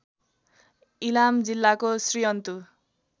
इलाम जिल्लाको श्रीअन्तु